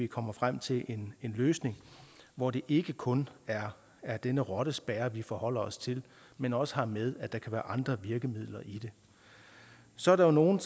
kommer frem til en løsning hvor det ikke kun er er det med rottespærrer vi forholder os til men også har med at der kan være andre virkemidler så er der nogle